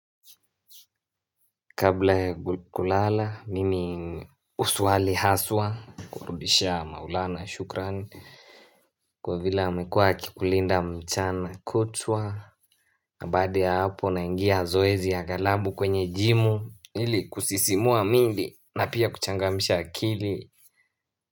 Kabla ya kulala mimi husuali haswa kurudishia maulana shukrani Kwa vile amekuwa akikulinda mchana kutwa na baada ya hapo naingia zoezi ya galabu kwenye jimu ili kusisimua miili na pia kuchangamsha akili.